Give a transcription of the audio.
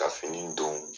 Ka fini don